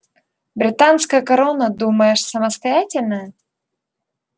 британская корона думаешь самостоятельная